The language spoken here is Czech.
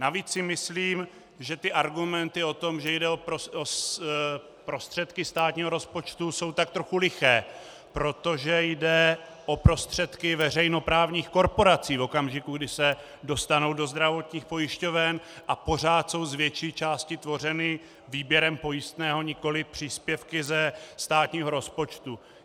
Navíc si myslím, že ty argumenty o tom, že jde o prostředky státního rozpočtu, jsou tak trochu liché, protože jde o prostředky veřejnoprávních korporací v okamžiku, kdy se dostanou do zdravotních pojišťoven, a pořád jsou z větší části tvořeny výběrem pojistného, nikoli příspěvky ze státního rozpočtu.